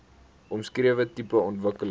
omskrewe tipe ontwikkeling